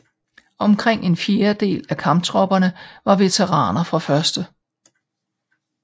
Omkring en fjerdedel af kamptropperne var veteraner fra 1